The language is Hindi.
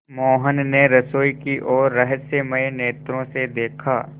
मोहन ने रसोई की ओर रहस्यमय नेत्रों से देखा